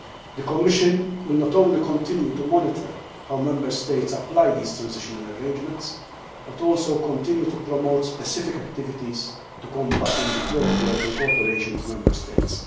The Commission will not only continue to monitor how Member States apply these transitional arrangements, but will also continue to promote specific activities to combat undeclared work, in cooperation with the Member States.